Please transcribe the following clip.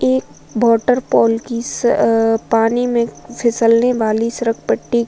ये waterfall की स अअअ पानी में फिसलने वाली सरकपट्टी --